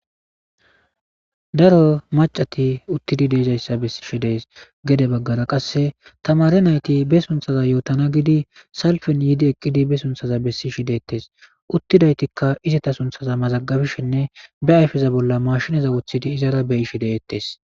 Daro macati uttidi deezayssa bessishi dees gede baggara qasse tamare nayti be sunthaza yootana gidi salfen yiidi eqqidi be sunthaza bessishi deettes uttidaytikka izita sunthaza mazaggabishinne be ayfeza bolla mashinaza uthidi izara be ishi deettes.